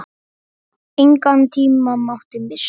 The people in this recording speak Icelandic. Engan tíma mátti missa.